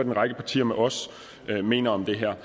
en række partier med os mener om det her